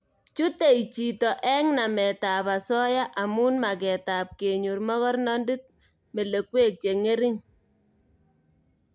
Chutei chito eng nametab osoya amu magetab kenyor mogornondit melekwek chengering